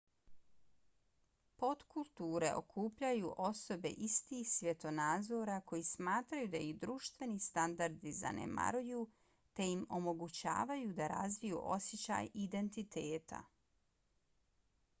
potkulture okupljaju osobe istih svjetonazora koji smatraju da ih društveni standardi zanemaruju te im omogućavaju da razviju osjećaj identiteta